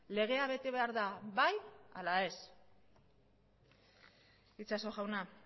legea bete behar da bai ala ez itxaso jauna